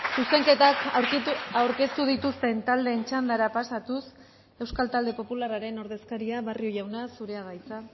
zuzenketak aurkeztu dituzten taldeen txandara pasatuz euskal talde popularraren ordezkaria barrio jauna zurea da hitza